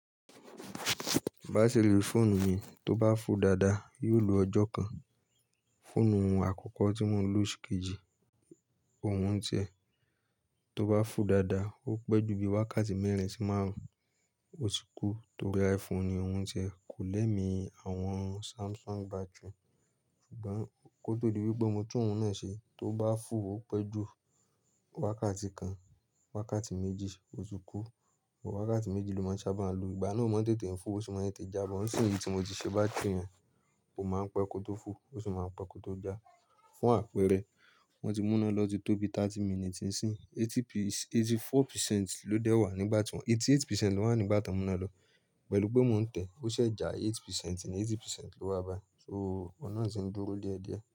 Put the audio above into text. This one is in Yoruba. Batiri fóònù mi tó bá full dáadáa yóò lo ọjọ́ kan. Fóònù àkọ́kọ́ tí mọ́n lò ṣikejì, òun tẹ̀. Tó bá full dáadáa, ó pẹ́ ju bí wákàtí mẹ́rin sí márùn-ún ó ti kú torí iPhone ni òun ṣe. Kò lẹ́mi, àwọn Samsung battery. Ṣùgbọ́n kó tó di wípé mo tún ọ̀hún náà ṣe, tó bá full ó pẹ́ ju wákàtí kan, wákàtí méjì ó ti kú. Òwó wákàtí méjì ni mo máa ń sábà lo. Ìgbà náà ó máa ń tètè full, ó sì máa ń tètè já. But nsinyi tí mo ti ṣe bátìrì rẹ̀ ó máa ń pẹ́ kó tó full ó sì máa ń pẹ́ kó tó já. Fún àpérẹ́, wọ́n ti mú'ná lo ọ́ títọ́ bí 30 minute nsin. 84% ló dẹ́wà nígbà tí wọ́n, 88% ló wà nígbà tí wọ́n mú iná lọ. Pẹ̀lú pé mò ń tẹ̀, ó ṣẹ̀ já 8% ni 80% ló wá bái. So ọ̀un nà tì ń dúró déédéé.